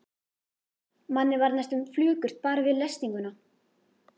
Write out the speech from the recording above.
Manni varð næstum flökurt bara við lesninguna.